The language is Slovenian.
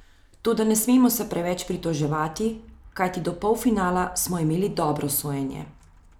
Toda ne smemo se preveč pritoževati, kajti do polfinala smo imeli dobro sojenje.